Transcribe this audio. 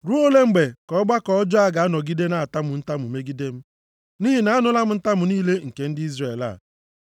“Ruo ole mgbe ka ọgbakọ ọjọọ a ga-anọgide na-atamu ntamu megide m? Nʼihi na anụla m ntamu niile nke ndị Izrel a.